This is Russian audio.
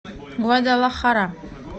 гвадалахара